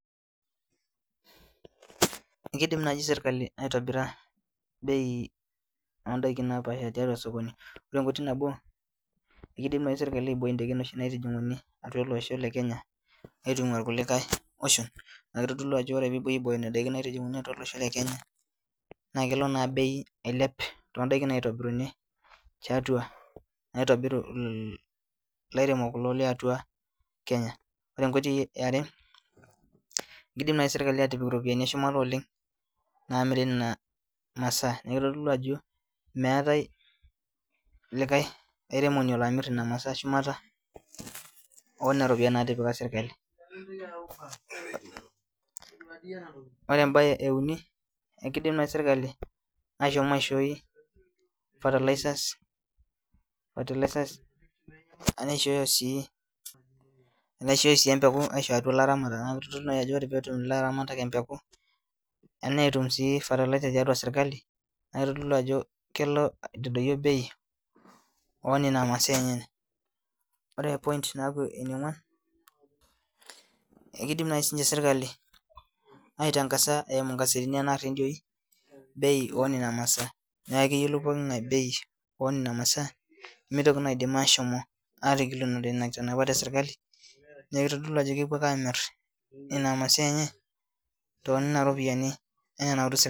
Ekidim naaji sirkali aitobira bei ondaiki napaasha tiatua osokoni ore enkoitoi nabo ekidim naaji sirkali aiboi indaikin oshi naitijing'uni atua olosho le kenya aitung'ua irkulikae oshon naa kitodolu ajo ore peepuoi aibooyo nena daikin naitijing'uni atua olosho le kenya naa kelo naa bei ailep tondaiki naitobiruni tiatua naitobiru il ilairemok kulo liatua kenya ore enkoitoi iare kidim naai sirkali atipik iropiyiani eshumata oleng naamiri ina masaa niaku kitodolu ajo meetae likae aitremoni olo amirr ina masaa shumata onena ropiyiani natipika sirkali ore embaye euni ekidim naaji sirkali aashom aishoi fertilizers, fertilizers ashu eishooyo sii empeku enaishooyo sii empeku aisho atua ilaramatak naa kitodolu naaji ajo ore peetum ilaramatak empeku enaa fertilizer tiatua sirkali naa kitodolu ajo kelo aitadoyio bei onena masaa enyenye ore point naaku eniong'uan ekidim naai sininche sirkali aitangasa eimu ingasetini enaa irrendioi bei onena masaa niaku keyiolou poking'ae bei onena masaa nemitoki naidim ashomo atigilunore ina nena kitanapat esirkali nekitodolu ajo kepuo ake amirr ina masia enye tonena ropiyiani enaa enautu sirkali.